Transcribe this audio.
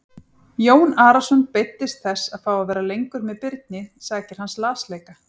Jón Arason beiddist þess að fá að vera lengur með Birni sakir hans lasleika.